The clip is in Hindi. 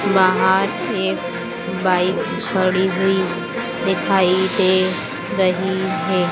बाहर एक बाइक खड़ी हुई दिखाई दे रही है